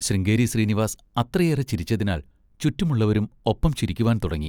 ശൃംഗേരി ശ്രീനിവാസ് അത്രയേറെ ചിരിച്ചതിനാൽ ചുറ്റുമുള്ളവരും ഒപ്പം ചിരിക്കുവാൻതുടങ്ങി.